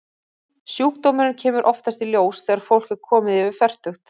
Sjúkdómurinn kemur oftast í ljós þegar fólk er komið yfir fertugt.